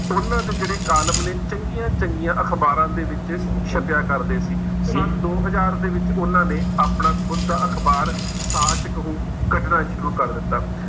ਉਹਨਾਂ ਦੇ ਜਿਹੜੇ ਕਾਲਮ ਨੇ ਚੰਗੀਆਂ ਚੰਗੀਆਂ ਅਖ਼ਬਾਰਾਂ ਦੇ ਵਿੱਚ ਛਪਿਆ ਕਰਦੇ ਸੀ, ਸੰਨ ਦੋ ਹਜ਼ਾਰ ਦੇ ਵਿੱਚ ਉਹਨਾਂ ਨੇ ਆਪਣਾ ਖੁੱਦ ਦਾ ਅਖ਼ਬਾਰ ਸਾਚ ਕਹੂੰ ਕੱਢਣਾ ਸ਼ੁਰੂ ਕਰ ਦਿੱਤਾ।